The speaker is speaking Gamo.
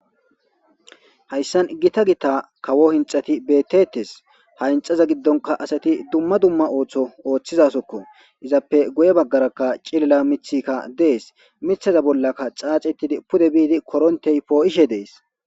Hayssan gita gita kawo hinxxati beetetees. Ha hinxxaza giddonkka asati dumma dumma ooso oothizayssakko . Izappe guye bagara cilila mithikka dees.mithata bollakka xaaxeetidi koronte poo7ishe dees.